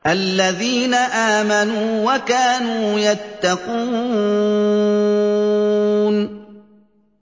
الَّذِينَ آمَنُوا وَكَانُوا يَتَّقُونَ